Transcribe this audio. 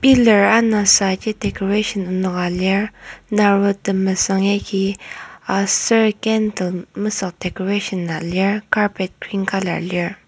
pillar anasaji decoration enoka lir naro temesüng yagi aser candle mesük decoration a lir carpet green colour lir.